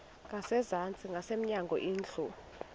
ngasezantsi ngasemnyango indlu